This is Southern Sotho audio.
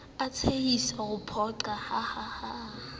o tshehisa ho phoqa hahaha